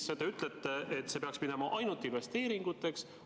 Teie ütlete, et see peaks minema ainult investeeringuteks.